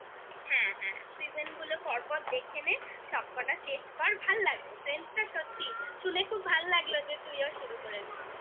হ্যাঁ হ্যাঁ season গুলো পর পর দেখে নে সবকটা শেষ কর ভাল লাগবে friends টা সত্যি শুনে খুব ভালো লাগলো যে তুইও শুরু করেছিস